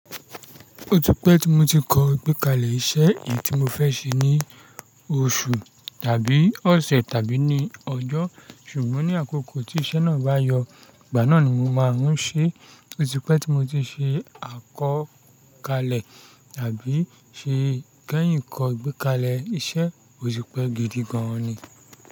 Ó ti pẹ́ tí mo ti kọ gbékalẹ̀ iṣẹ́ èyí tí mo fẹ́ ṣe ní oṣù tàbí ọ̀sẹ̀ tàbí ní ọjọ́. Ṣùgbọ́n ní àkókò tí iṣẹ́ náà bá yọ, ìgbà náà ni mo máa ń ṣe. Ó ti pẹ́ tí mo ti ṣe àkọkalẹ̀ àbí ṣe kẹ́yìn kọ gbékalẹ̀ iṣẹ́, ó ti pẹ́ gidi gan ni.